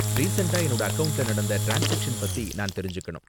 ரீசண்ட்டா என்னோட அக்கவுண்ட்ல நடந்த ட்ரான்ஸ்சாக்சன் பத்தி நான் தெரிஞ்சுக்கணும்.